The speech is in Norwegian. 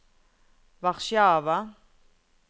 Warszawa